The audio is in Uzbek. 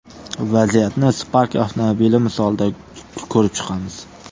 Vaziyatni Spark avtomobili misolida ko‘rib chiqamiz.